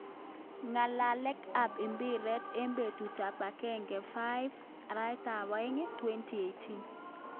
Ngalalek ap mpiret eng petut ap agenge 5,02,2018.